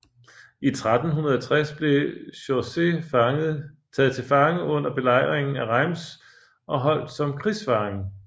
I 1360 blev Chaucer taget til fange under belejringen af Reims og holdt som krigsfange